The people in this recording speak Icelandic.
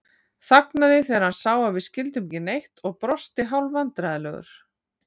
Þagnaði þegar hann sá að við skildum ekki neitt og brosti hálfvandræðalegur.